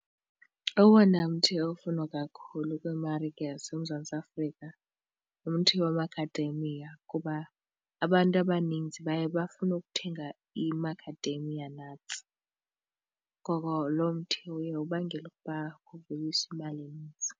Owona mthi ofunwa kakhulu kwiimarike yaseMzantsi Afrika ngumthi wamakhademiya kuba abantu abaninzi baye bafune ukuthenga i-macadamia nuts ngoko lo mthi uye ubangele ukuba kuveliswe imali enintsi.